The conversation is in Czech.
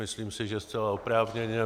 Myslím si, že zcela oprávněně.